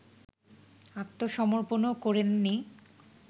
আত্মসমর্পণও করেননি